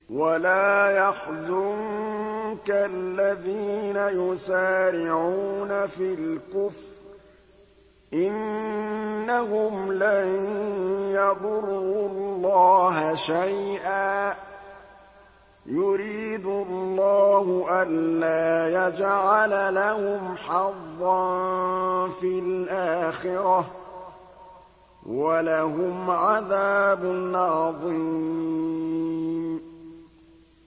وَلَا يَحْزُنكَ الَّذِينَ يُسَارِعُونَ فِي الْكُفْرِ ۚ إِنَّهُمْ لَن يَضُرُّوا اللَّهَ شَيْئًا ۗ يُرِيدُ اللَّهُ أَلَّا يَجْعَلَ لَهُمْ حَظًّا فِي الْآخِرَةِ ۖ وَلَهُمْ عَذَابٌ عَظِيمٌ